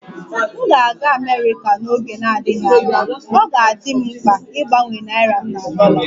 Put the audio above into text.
M ga-aga Amerika n'oge na-adịghị anya, ọ ga-adị m mkpa ịgbanwe naịra m na dollar